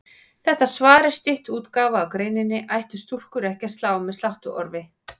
Þetta svar er stytt útgáfa af greininni Ættu stúlkur ekki að slá með sláttuorfi?